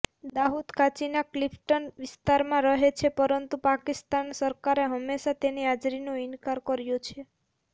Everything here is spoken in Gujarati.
દાઉદ કરાચીના ક્લિફ્ટન વિસ્તારમાં રહે છે પરંતુ પાકિસ્તાન સરકારે હંમેશા તેની હાજરીનો ઇનકાર કર્યો છે